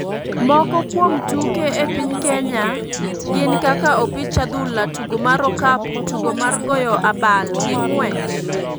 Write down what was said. Moko kuom tuke e piny kenya gin kaka Opich Adhula, tugo mar okapu, tugo mar goyo abal, gi ng'uech.